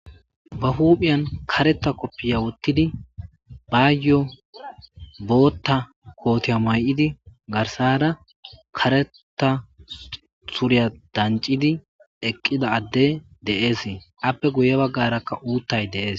ba huuphiyan kareta koppiya wottidi bayyo bootta kootiya may7idi garsara kareta suriya dancidi eqqida adde deeese appe guye baggarakka uuttay deees